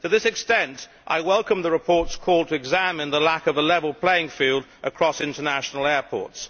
To this extent I welcome the report's call to examine the lack of a level playing field across international airports.